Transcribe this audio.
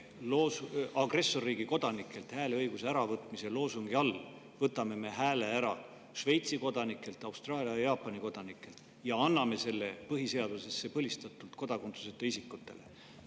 Agressorriigi kodanikelt hääleõiguse äravõtmise loosungi all võtame hääle ära Šveitsi, Austraalia ja Jaapani kodanikelt ja anname selle põhiseadusesse põlistatult kodakondsuseta isikutele.